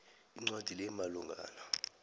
incwadi le imalungana